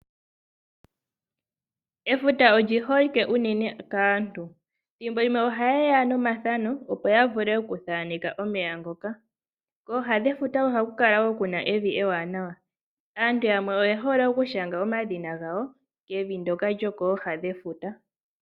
Efuta olyi holike unene kaantu. Thimbo limwe ohaye ya nomathano opo ya vule okuthaaneka omeya ngoka. Kooha dhefuta ohaku kala wo kuna evi ewanawa. Aantu yamwe oye hole okushanga omadhina gawo kevi ndyoka lyo kooha dhefuta.